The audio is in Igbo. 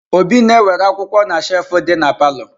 Obi na-ewere akwụkwọ na shefu dị na palọ.